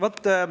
Aitäh!